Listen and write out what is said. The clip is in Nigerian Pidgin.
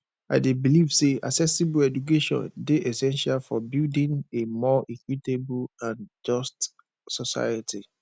i dey believe say accessible education dey essential for building a more equitable and just society